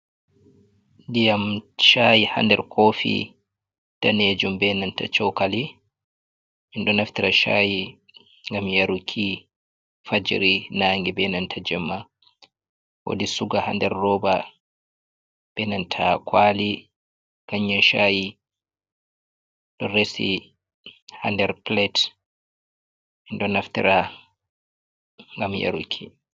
Ndiyam caayi haa nder koofi daneejum, be nanta cookali en ɗo naftira caayi ngam yaruki fajiri, na ange, be nanta jemma. Woodi suga haa nder rooba be nannta kwaali, kanyan caaayi ɗo resi haa nder pilet, en ɗo naftira ngam yaruki.